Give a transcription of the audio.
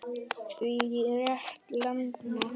Því réð Lena.